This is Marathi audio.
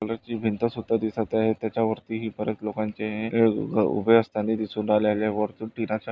कलर ची भिंत सुद्धा दिसत आहे त्याच्या वरती परत लोकांचे उबे असताना दिसून राहलेले आहे. वरतून--